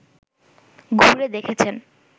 ঘুরে দেখেছেন